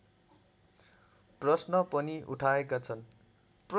प्रश्न पनि उठाएका छन्